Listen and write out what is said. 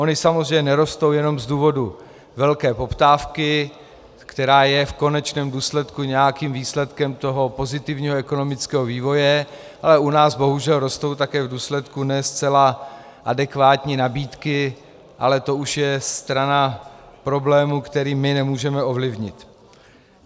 Ony samozřejmě nerostou jenom z důvodu velké poptávky, která je v konečném důsledku nějakým výsledkem toho pozitivního ekonomického vývoje, ale u nás bohužel rostou také v důsledku ne zcela adekvátní nabídky, ale to už je strana problému, který my nemůžeme ovlivnit.